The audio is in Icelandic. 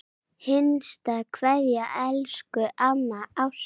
HINSTA KVEÐJA Elsku amma Ásta.